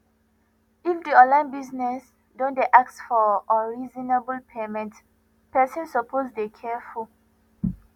if di online business don dey ask for unreasonable payment person suppose dey careful